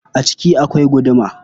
A ciki akwai guduma.